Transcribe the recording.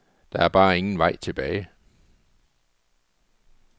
Der er bare ingen vej tilbage.